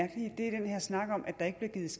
et